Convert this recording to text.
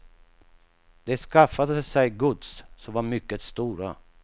De skaffade sig gods, som var mycket stora.